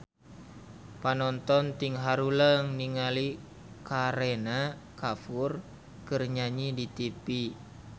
Panonton ting haruleng ningali Kareena Kapoor keur nyanyi di tipi